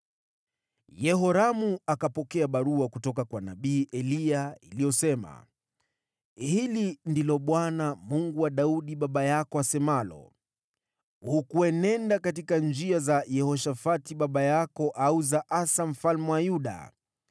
Yehoramu akapokea barua kutoka kwa nabii Eliya iliyosema: “Hili ndilo Bwana , Mungu wa Daudi baba yako, asemalo: ‘Hukuenenda katika njia za Yehoshafati baba yako au za Asa mfalme wa Yuda.